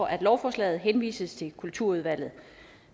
at lovforslaget henvises til kulturudvalget